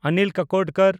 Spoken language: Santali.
ᱚᱱᱤᱞ ᱠᱟᱠᱳᱰᱚᱠᱚᱨ